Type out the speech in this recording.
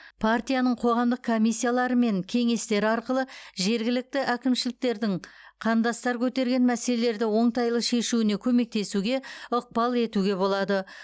партияның қоғамдық комиссиялары мен кеңестері арқылы жергілікті әкімшіліктердің қандастар көтерген мәселелерді оңтайлы шешуіне көмектесуге ықпал етуге болады